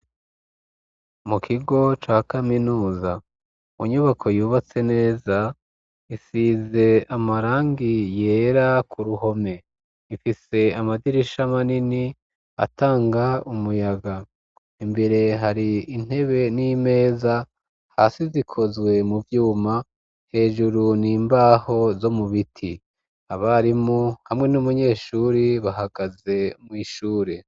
Mu kigo ca kaminuza, mu nyubako, yubatse neza, isize amarangi yera, ku ruhome; ifise amadirisha manini, atanga umuyaga; imbere, hari intebe, n'imeza; hasi, zikozwe mu vyuma, hejuru, ni imbaho zo mu biti; abarimu, hamwe n'umunyeshuri, bahagaze mw'ishure.